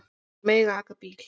Þær mega aka bíl.